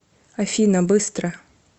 афина быстро